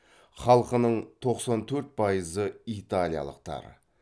халқының тоқсан төрт пайызы италиялықтар